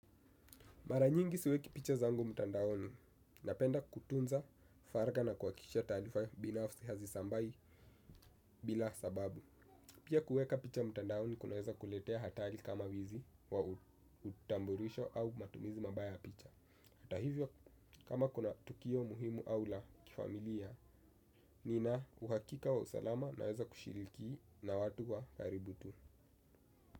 Maranyingi siweki picha zangu mtandaoni na penda kutunza faraga na kuhakisha taarifa binafsi hazisambai bila sababu. Pia kuweka picha mtandaoni kunaweza kuletea hatari kama wizi wa utambulisho au matumizi mabaya ya picha. Hata hivyo kama kuna tukio muhimu au la kifamilia, nina uhakika wa usalama naweza kushiriki na watu wa karibu tu.